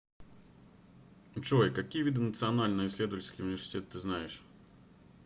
джой какие виды национальный исследовательский университет ты знаешь